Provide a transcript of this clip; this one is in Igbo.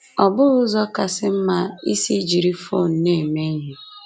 Ọ bụghị ụzọ kasị mma isi jiri fon na-eme ihe.